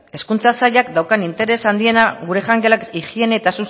hezkuntza sailak daukan interes handiena gure jangelak higiene eta